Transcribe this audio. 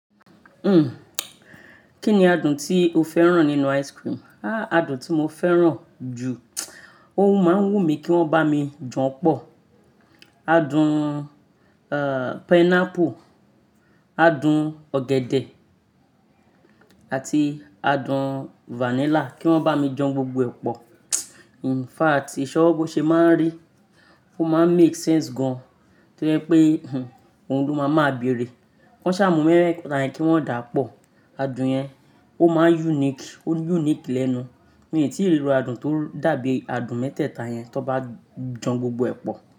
Kí ni adùn tí o fẹ́ràn nínú ice cream? Adùn tí mo fẹ́ràn jù, ó máa ń wù mí kí wọ́n bá mi jan pọ̀. Adùn pineapple, adùn ọ̀gẹ̀dẹ̀ àti adùn vanilla kí wọ́n bá mi jan gbogbo ẹ̀ pọ̀. Infact isọ́wọ̀ bo ṣe máa ń rí, ó máa ń make sense gan-an tó jẹ́ wipé òhun ló máa máa beèrè. Kan ṣà mú mẹ́teeta yẹn kí wọ́n dà pọ̀, adùn yẹn ó máa ń unique o unique lẹ́nu. Mii tíì rí iru adùn tó dàbí adùn mẹ́tẹ̀ẹ̀ta yẹn tí wọ́n bá jan gbogbo ẹ̀ pọ̀